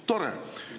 Tore!